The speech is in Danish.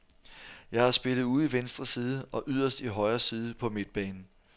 Jeg har spillet ude i venstre side og yderst i højre side på midtbanen.